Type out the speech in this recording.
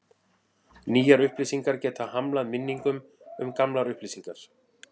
Nýjar upplýsingar geta hamlað minningum um gamlar upplýsingar.